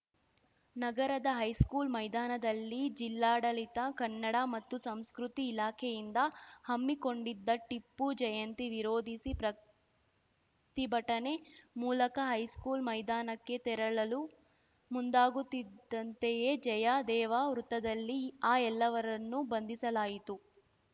ನಗರದ ಹೈಸ್ಕೂಲ್‌ ಮೈದಾನದಲ್ಲಿ ಜಿಲ್ಲಾಡಳಿತ ಕನ್ನಡ ಮತ್ತು ಸಂಸ್ಕೃತಿ ಇಲಾಖೆಯಿಂದ ಹಮ್ಮಿಕೊಂಡಿದ್ದ ಟಿಪ್ಪು ಜಯಂತಿ ವಿರೋಧಿಸಿ ಪ್ರತಿಭಟನೆ ಮೂಲಕ ಹೈಸ್ಕೂಲ್‌ ಮೈದಾನಕ್ಕೆ ತೆರಳಲು ಮುಂದಾಗುತ್ತಿದ್ದಂತೆಯೇ ಜಯದೇವ ವೃತ್ತದಲ್ಲಿ ಆ ಎಲ್ಲವರನ್ನೂ ಬಂಧಿಸಲಾಯಿತು